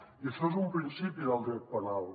i això és un principi del dret penal